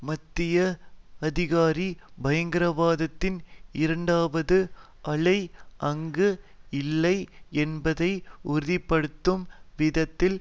மத்திய அதிகாரி பயங்கரவாதத்தின் இரண்டாவது அலை அங்கு இல்லை என்பதை உறுதி படுத்தும் விதத்தில்